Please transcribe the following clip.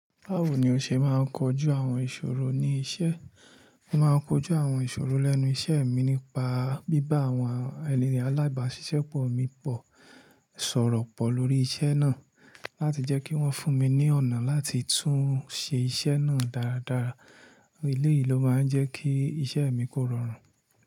Báwo ni o ṣe máa ń kojú àwọn ìṣòro ní iṣẹ́? Mo máa ń kojú àwọn ìṣòro lẹ́nu iṣẹ́ mi nípa bíbá àwọn eni alábàáṣiṣẹ́pọ̀ mi pọ̀, sọ̀rọ̀ pọ̀ lórí iṣẹ́ náà láti jẹ́ kí wọ́n fún mi ní ọ̀nà láti tún ṣe iṣẹ́ náà dáradára. Eleyi ló máa ń jẹ́ kí iṣẹ́ mi kó rọrùn.